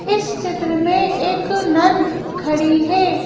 इस चित्र में एक नन खड़ी है।